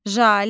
Jalə.